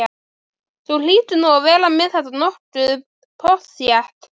Bjarnólfur Lárusson á þennan titil Besti íþróttafréttamaðurinn?